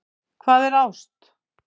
Hvað er ást?